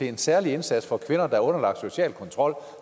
en særlig indsats for kvinder der er underlagt social kontrol